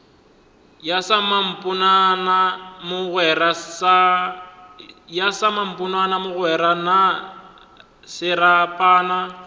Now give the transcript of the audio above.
ya samponana mogwera na serapana